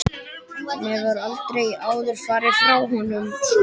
Hún hefur aldrei áður farið frá honum svona lengi.